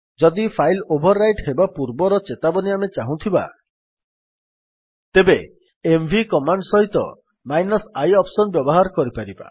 ଯଦି file overwrite ହେବା ପୂର୍ବର ଚେତାବନୀ ଆମେ ଚାହୁଁଥିବା ତେବେ ଏମଭି କମାଣ୍ଡ୍ ସହିତ i ଅପ୍ସନ୍ ବ୍ୟବହାର କରିପାରିବା